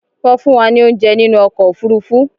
Wọ́n fún wa ní óunjẹ nínú ọkò òfurufú